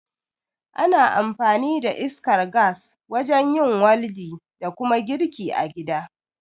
Ana amfani da iskar gas wajen yin waldi da kuma girki a gida